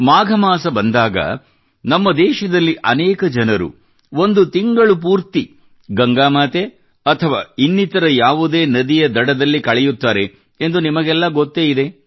ಮಾಘ ಮಾಸ ಬಂದಾಗ ನಮ್ಮ ದೇಶದಲ್ಲಿ ಅನೇಕ ಜನರು ಒಂದು ತಿಂಗಳು ಪೂರ್ತಿ ಗಂಗಾ ಮಾತೆ ಅಥವಾ ಇನ್ನಿತರ ನದಿಯ ದಡದಲ್ಲಿ ಕಳೆಯುತ್ತಾರೆ ಎಂದು ನಿಮಗೆಲ್ಲಾ ಗೊತ್ತೇ ಇದೆ